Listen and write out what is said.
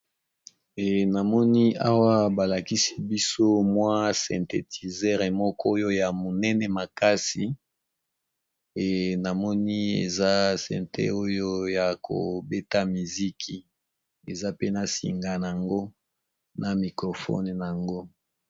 Eh namoni awa ba lakisi biso mwa syntetizere moko oyo ya monene makasi,e namoni eza synte oyo ya ko beta miziki eza pe na singa nango na microfone nango.